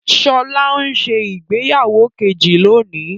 Sọlá ń ṣe ìgbéyàwó kejì lọ́wọ́